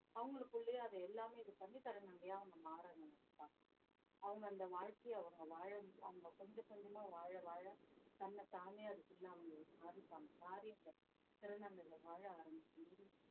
அவங்களுக்குள்ளேயே அதை எல்லாமே இது பண்ணித் திருநங்கைய அவங்க மாற நினைப்பாங்க அவங்க அந்த வாழ்க்கையை அவங்க வாழ~ அவங்க கொஞ்சம் கொஞ்சமா வாழ வாழ தன்னைத்தானே அதுக்குள்ள அவங்களுக்கு மாறிப்பாங்க மாறி அந்த திருநங்கைகள் வாழ ஆரம்பிக்கும்போது